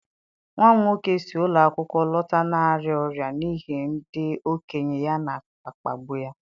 Nwa m nwoke si ụlọ akwụkwọ lọta na-arịa ọrịa n'ihi na ndị okenye ya na-akpagbu ya.